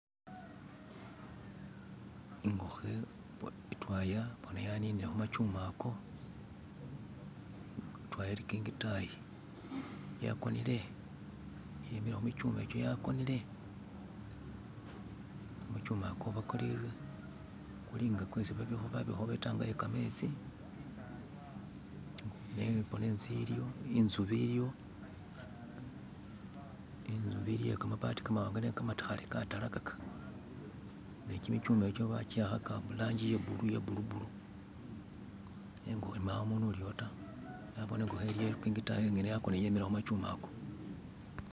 Ingokho itwaya boona yaninile khu makyuma ako, itwaya ili kingitayi, yakonile, yemele khumichuma ikyo yakonele kumuchuma ukwo kuli nga kwesi babikhawo itanka ye kametsi, boona inzubi iliyo iye kamabaati kamawanga nenga kamatakhale, katalakaka ne kimichuma ikyo bakiwakhaka iranji iye blue nenga mbawo umundu uliwo taa, naboone ingo iliyo iye kingitayi ingene ya konele yemile khu machuma ako.